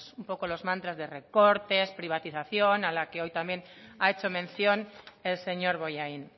un poco los mantras de recortes privatización a la que hoy también ha hecho mención el señor bollain